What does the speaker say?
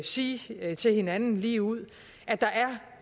sige til hinanden ligeud at der